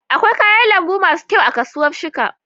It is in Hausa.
Akwai kayan lambu masu kyau a kasuwar shika.